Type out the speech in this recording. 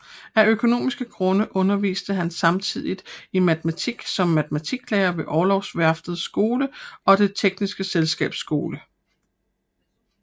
Af økonomiske grunde underviste han samtidigt i matematik som matematiklærer ved Orlogsværftets Skole og Det tekniske Selskabs Skole